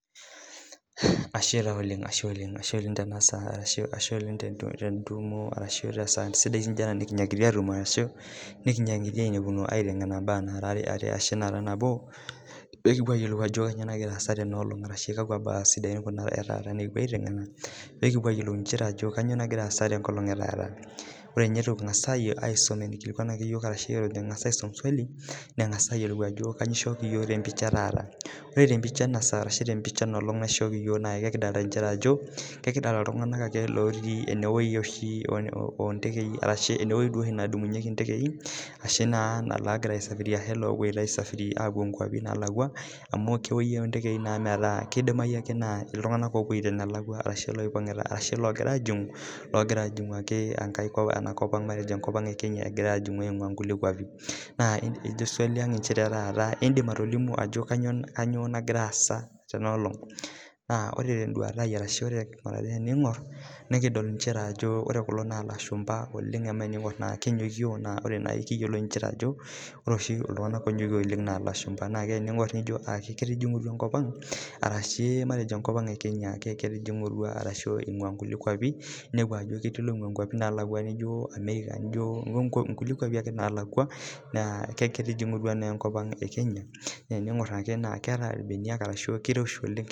Ashe oleng te saa naijio ena nikinyakita atumo nikinyakita ainepuno aiteng'ena mbaa peekuo ayiolou Ajo kainyio nagira asaa teno olong arashu kakua mbaa Kuna sidan nikipuo taa aiteng'ena ekipuo ayiolou Ajo kainyio nagira asaa tenkolong etaata ore eitu ninye Eton kipuo aisuma entoki naikilikuanaki iyiok arashu ore Eton eitu kisum swali niking'as ayiolou Ajo kainyio eishoki iyiok tee picha etaata ore tee pica enolog naa ekidolita Ajo kegira iltung'ana lotii oo ntekei arashu ewueji nedumunyieki ndekei ashu negira aisafiri apuo nkwapii nalakua amu ewueji ontekei naa metaa kidimayu naa iltung'ana lopoito enalakua arashu logira ajingu enakop matejo enakop Kenya egira ajingu eing'ua nkulie kwapie naa ejo swali ang etaa edim atolimu Ajo kainyio nagira asaa Tena olong naa ore teduata ai arashu ore tening'or kulo naa ilashumba amu tening'or naa kenyokio naa oree naaji miyiolo njere Ajo ore oshi iltung'ana onyokio oleng naa elashumba naa tening'or nijo aa ketijingutua enkop Ang arashu matejo eing'ua nkulie kwapie ninepu Ajo ketii loingua nkwapii nalakua nijio America nkulie kwapie ake nalakua naa ketijingutua enkop Ang ee Kenya naa tening'or keeta irbenia kiroshi oleng